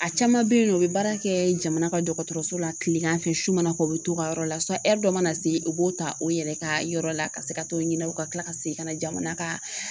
A caman bɛ yen u bɛ baara kɛ jamana ka dɔgɔtɔrɔso la tilegan fɛ su mana kɛ u bɛ to u ka yɔrɔ la dɔ mana se u b'o ta o yɛrɛ ka yɔrɔ la ka se ka t'o ɲininka u ka kila ka segin ka na jamana ka